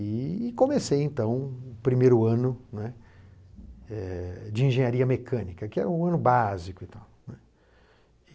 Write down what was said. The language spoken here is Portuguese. E comecei, então, o primeiro ano, não é? É... de Engenharia Mecânica, que era o ano básico e tal, né?